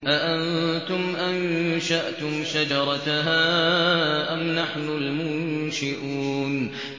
أَأَنتُمْ أَنشَأْتُمْ شَجَرَتَهَا أَمْ نَحْنُ الْمُنشِئُونَ